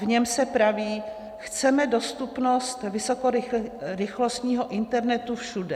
V něm se praví: Chceme dostupnost vysokorychlostního internetu všude.